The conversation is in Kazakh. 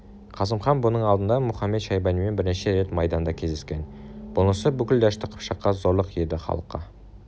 қасым хан бұның алдында мұхамед-шайбанимен бірнеше рет майданда кездескен бұнысы бүкіл дәшті қыпшаққа зорлық еді халыққа